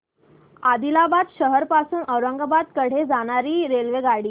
आदिलाबाद शहर पासून औरंगाबाद कडे जाणारी रेल्वेगाडी